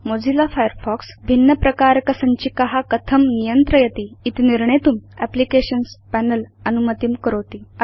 Mozilla Firefox भिन्न प्रकारक सञ्चिका कथं नियन्त्रयति इति निर्णेतुं एप्लिकेशन्स् पनेल अनुमतिं करोति